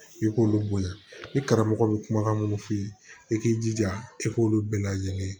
I k'olu bonya ni karamɔgɔ bɛ kumakan minnu f'i ye i k'i jija i k'olu bɛɛ lajɛlen ye